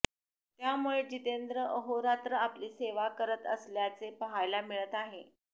त्यामुळे जितेंद्र अहोरात्र आपली सेवा करत असल्याचे पाहायला मिळत आहे